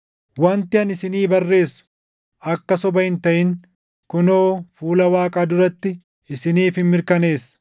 Wanti ani isinii barreessu akka soba hin taʼin kunoo fuula Waaqaa duratti isiniifin mirkaneessa.